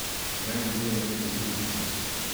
Ven greva skozi kuhinjo.